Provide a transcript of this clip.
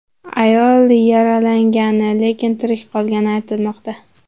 Ayol yaralangani, lekin tirik qolgani aytilmoqda.